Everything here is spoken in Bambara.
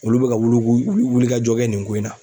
Olu bɛ ka wuluku wulikajɔ kɛ nin ko in na.